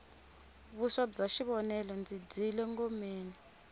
vuswa bya xivonele ndzi dyile ngomeni